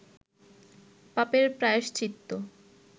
পাপের প্রায়শ্চিত্ত